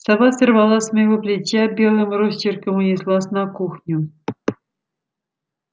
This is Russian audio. сова сорвалась с моего плеча белым росчерком унеслась на кухню